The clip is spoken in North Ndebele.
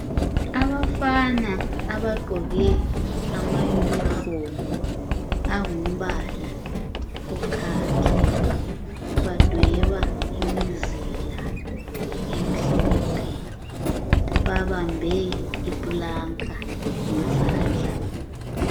Abafana abagqoke ama yunifomu angumbala okhakhi badweba imizila emhlophe babambe iplanka ngezandla.